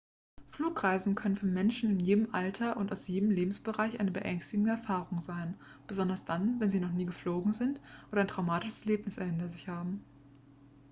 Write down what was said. flugreisen können für menschen in jedem alter und aus jedem lebensbereich eine beängstigende erfahrung sein besonders dann wenn sie noch nie geflogen sind oder ein traumatisches erlebnis hinter sich haben